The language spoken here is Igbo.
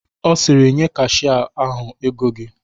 Ọ sịrị "Nye kashia ahụ ego gị"